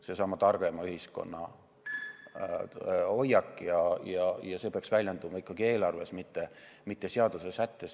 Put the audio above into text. See on seesama targema ühiskonna hoiak, mis peaks väljenduma ikkagi eelarves, mitte seadusesättes.